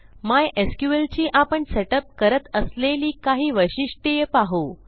MySQL ची आपण setup करत असलेली काही वैशिष्ट्ये पाहू